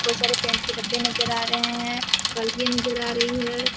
बहुत सारे पेंट के डब्बे नजर आ रहे है बल्टिया नजर आ रही है।